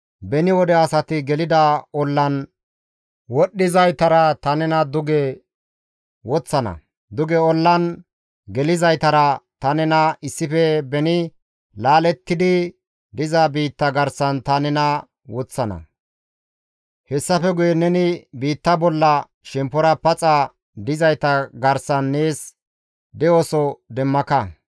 beni wode asati gelida ollan wodhdhizaytara ta nena duge woththana; duge ollan gelizaytara ta nena issife beni laalettidi diza biitta garsan ta nena woththana; hessafe guye neni biitta bolla shemppora paxa dizayta garsan nees de7oso demmaka;